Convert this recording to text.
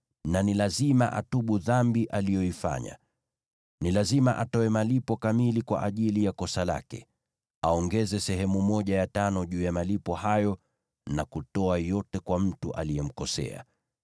na ni lazima atubu dhambi aliyoifanya. Ni lazima atoe malipo kamili kwa ajili ya kosa lake, aongeze sehemu ya tano juu ya malipo hayo na kutoa yote kwa mtu aliyemkosea.